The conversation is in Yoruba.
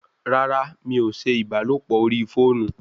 Rárá! mí o ṣe ìbálòpọ̀ orí fóònù